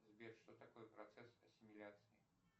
сбер что такое процесс ассимиляции